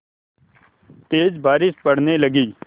तेज़ बारिश पड़ने लगी